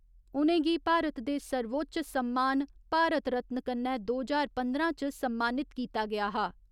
उ'नेंगी भारत दे सर्वोच्च सम्मान भारत रत्न कन्नै दो ज्हार पंदरां च सम्मानित कीता गेआ हा।